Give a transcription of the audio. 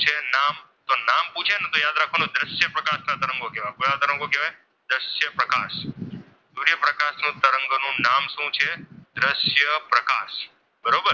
તેનું નામ શું છે? દ્રશ્ય પ્રકાશ બરોબર.